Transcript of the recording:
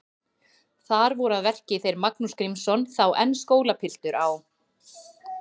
Þar voru að verki þeir Magnús Grímsson, þá enn skólapiltur á